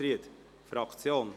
– Das geht nicht.